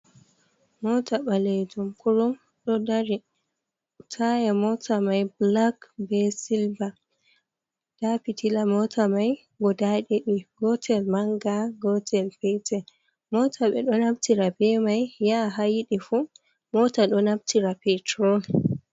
Moota ɓaleejum kurum ɗo dari. Taaya mota mai black bee silver ndaa pitilla moota mai guda ɗiɗi; gootel mannga, gootel peetel. Moota ɓe ɗo naftira bee mai yaha haa yiɗi fuu. Moota ɗo naftira petrol.